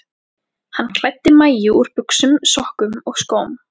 Hann klæddi Maju úr buxum, sokkum og skóm.